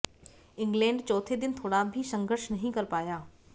England चौथे दिन थोड़ा भी संघर्ष नहीं कर पाया